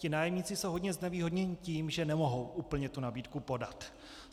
Ti nájemníci jsou hodně znevýhodněni tím, že nemohou úplně tu nabídku podat.